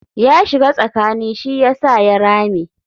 Ya shiga tsakani shi yasa ya rame.